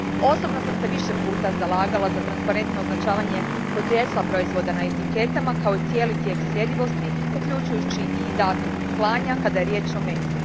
Osobno sam se više puta zalagala za transparentno označavanje podrijetla proizvoda na etiketama, kao i cijeli tijek sljedivosti, uključujući i datum klanja kada je riječ o mesu.